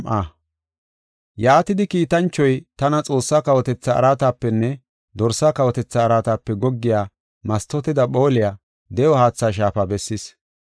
Yaatidi, kiitanchoy tana Xoossaa kawotetha araatapenne Dorsaa kawotethaa araatape goggiya mastooteda phooliya de7o haatha shaafa bessis.